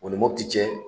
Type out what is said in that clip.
O ni mopti cɛ